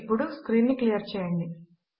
ఇప్పుడు స్క్రీన్ ను క్లియర్ చేయండి